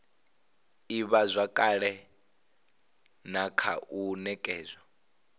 ivhazwakale na kha u nekedzwa